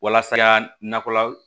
Walasa nakɔla